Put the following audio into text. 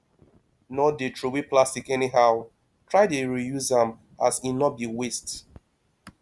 no dey throway plastic anyhow try dey reuse am as e no bi waste